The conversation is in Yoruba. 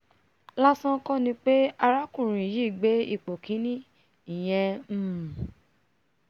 lásán kọ́ ni pé alákùnrin yìí gbé ipò kíní ìyẹn um